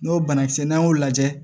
N'o banakisɛ n'an y'o lajɛ